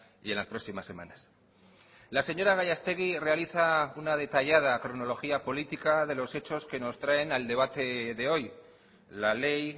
y en las próximas semanas la señora gallastegui realiza una detallada cronología política de los hechos que nos traen al debate de hoy la ley